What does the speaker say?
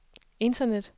internet